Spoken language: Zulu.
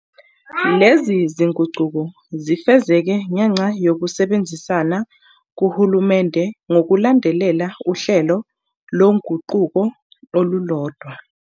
Lezi zinguquko zifezeke ngenxa yokusebenzisana kuhulumeni ngokulandela uhlelo loguquko olulodwa.